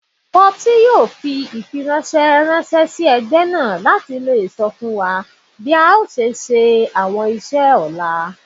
Popsy yoo fi ifiranṣẹ ranṣẹ si ẹgbẹ naa lati sọ fun wa bi a ṣe le ṣe awọn iṣẹ ọla